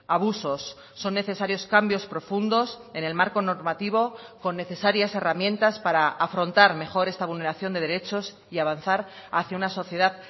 abusos son necesarios cambios profundos en el marco normativo con necesarias herramientas para afrontar mejor esta vulneración de derechos y avanzar hacia una sociedad